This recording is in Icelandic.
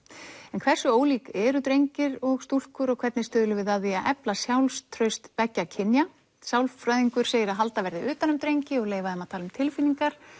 en hversu ólík eru drengir og stúlkur og hvernig stuðlum við að því að efla sjálfstraust beggja kynja sálfræðingur segir að halda verði utan um drengi og leyfa þeim að tala um tilfinningar